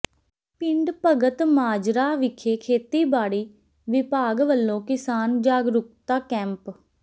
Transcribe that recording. ਪਿੰਡ ਭਗਤਮਾਜਰਾ ਵਿਖੇ ਖੇਤੀਬਾੜੀ ਵਿਭਾਗ ਵਲੋਂ ਕਿਸਾਨ ਜਾਗਰੂਕਤਾ ਕੈਂਪ